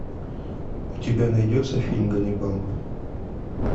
у тебя найдется фильм ганнибал